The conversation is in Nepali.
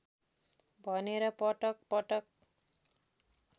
भनेर पटक पटक